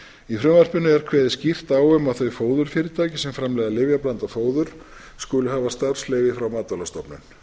í frumvarpinu er kveðið skýrt á um að þau fóðurfyrirtæki sem framleiða lyfjablandað fóður skuli hafa starfsleyfi frá matvælastofnun